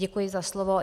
Děkuji za slovo.